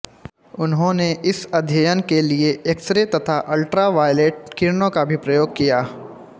उन्होंने इस अध्ययन के लिए एक्सरे तथा अल्ट्रावायलेट किरणों का भी प्रयोग किया